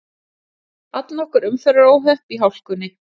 Allnokkur umferðaróhöpp í hálkunni